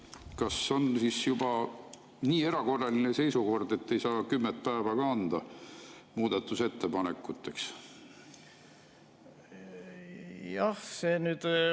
Kas on siis juba nii erakorraline seisukord, et ei saa kümmet päevagi anda muudatusettepanekuteks?